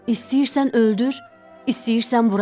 İstəyirsən öldür, istəyirsən burax.”